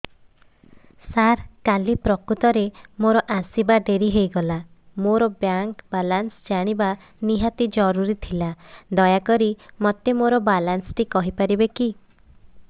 ସାର କାଲି ପ୍ରକୃତରେ ମୋର ଆସିବା ଡେରି ହେଇଗଲା ମୋର ବ୍ୟାଙ୍କ ବାଲାନ୍ସ ଜାଣିବା ନିହାତି ଜରୁରୀ ଥିଲା ଦୟାକରି ମୋତେ ମୋର ବାଲାନ୍ସ ଟି କହିପାରିବେକି